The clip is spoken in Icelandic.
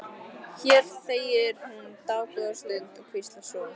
Hér þegir hún dágóða stund og hvíslar svo: